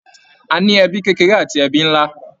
A ní ẹbí kékeré àti ẹbí nlá.